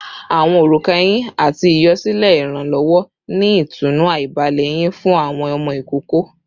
Awọn oruka ehin ati iyọ silẹ iranlọwọ ni itunu aibalẹ eyin fun awọn ọmọ ikoko